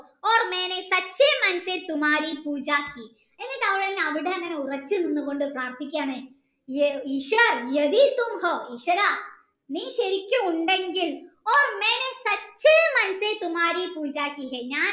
എന്നിട് അവനെ ഉറക്കെ നിന്ന് പ്രാർത്ഥിക്കുകയാണ് ഈശ്വര നീ ശെരിക്കും ഉണ്ടെങ്കിൽ